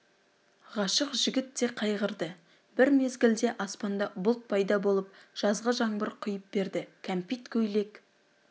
ғашық жігіт те қайғырды бір мезгілде аспанда бұлт пайда болып жазғы жаңбыр құйып берді кәмпит көйлек